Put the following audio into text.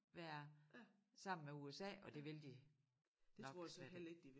Være sammen med USA og det vil de nok slet ikke